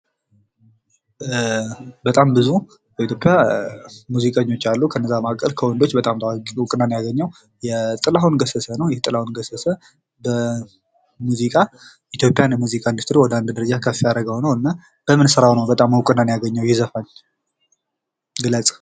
በጣም ብዙ ከኢትዮጵያ ሙዚቀኞች አሉ። ከነዛ መካከል ከወንዶች በጣም ታዋቂነትን ያገኘው ጥላሁን ገሰሰ ነው። ጥላሁን ገሰሰ በሙዚቃ ኢንዱስትሪ ኢትዮጵያን ወደ አንድ ደረጃ ከፍ ያደረገው ነው። በምን ስራው ነው እውቅናን ያገኘው ይዘፋኝ ግለጻ?